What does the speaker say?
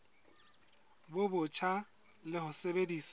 bo botjha le ho sebedisa